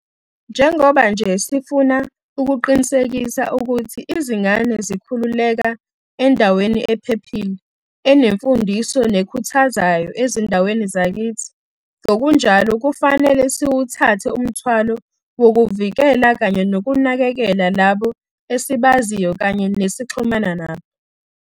Njengoba nje sifuna ukuqinisekisa ukuthi izingane zikhulela endaweni ephephile, enemfundiso nekhuthazayo ezindaweni zakithi, ngokunjalo kufanele siwuthathe umthwalo wokuvikela kanye nokunakekela labo esibaziyo kanye nesixhumana nabo.